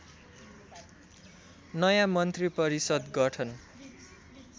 नयाँ मन्त्रीपरिषद् गठन